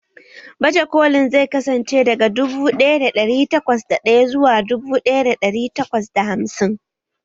Baje kolin zai kasance daga dubu ɗaya da ɗari takwas da ɗaya zuwa dubu ɗaya da ɗari takwas da hamsin